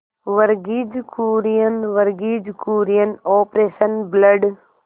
Verghese Kurien Verghese Kurien operation blood